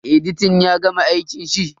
Editan ya gama aikin shi?